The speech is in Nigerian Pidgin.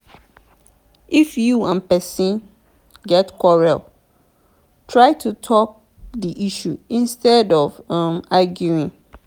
if you and person get quarrel try to talk di issue instead of um arguing